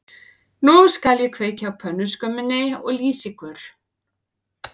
Nú skal ég kveikja á pönnuskömminni og lýsa ykkur